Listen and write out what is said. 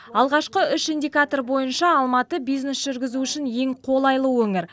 алғашқы үш индикатор бойынша алматы бизнес жүргізу үшін ең қолайлы өңір